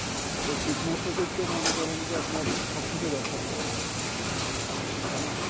এই কীটনাশকই তো মনে করেন আপনার সবকিছু ধ্বংস করে দিচ্ছে তাইনা